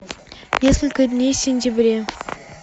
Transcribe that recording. несколько дней в сентябре